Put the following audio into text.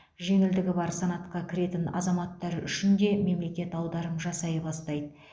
жеңілдігі бар санатқа кіретін азаматтар үшін де мемлекет аударым жасай бастайды